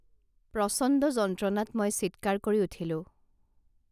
প্ৰচণ্ড যন্ত্ৰণাত মই চিৎকাৰ কৰি উঠিলো